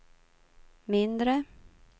mindre